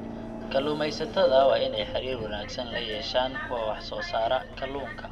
Kalluumeysatada waa in ay xiriir wanaagsan la yeeshaan kuwa wax soo saara kalluunka.